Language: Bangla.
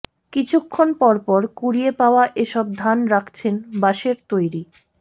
কিছুক্ষণ পরপর কুড়িয়ে পাওয়া এসব ধান রাখছেন বাঁশের তৈরি